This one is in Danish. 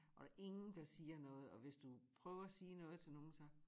Og der ingen der siger noget og hvis du prøver at sige noget itl nogen så